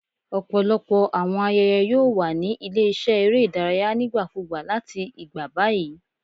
Ọpọlọpọ awọn ayẹyẹ yoo wa ni ile-iṣẹ ere idaraya nigbakugba lati igba bayi